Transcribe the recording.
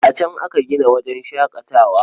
A can aka gina wajen shaƙatawar.